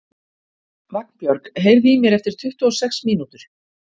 Vagnbjörg, heyrðu í mér eftir tuttugu og sex mínútur.